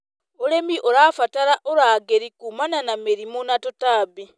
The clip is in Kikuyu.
ũrĩmi ũrabatara ũrangĩri kumana na mĩrimũ na tũtambi.